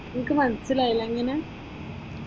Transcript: എനിക്ക് മനസ്സിലായില്ല, എങ്ങനാ?